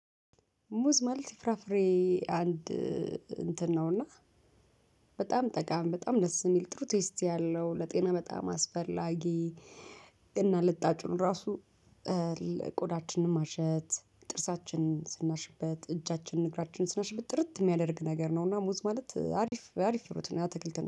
ሙዝ መልቲፍራፍሬ አንድ እንትን ነውና በጣም ጠቃሚ በጣም ደስ የሚል ጥሩ ቴስት ያለው ለጤና በጣም አስፈላጊ። እና ልጣጩን ራሱ ለቆዳችንም ማሸት ጥርሳችን ስናሽበት እጃችን እግራችን ስናሽበት ጥርት የሚያደርግ ነገር ነው። እና ሙዝ ማለት አሪፍ አሪፍ ሩት ነው ያ ትክልትና